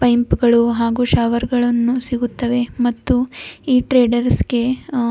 ಇಂಪಗಳು ಹಾಗು ಶವರಗಳನ್ನು ಸಿಗುತ್ತವೆ ಮತ್ತು ಈ ಟ್ರೇಡರ್ಸ್ ಗೆ--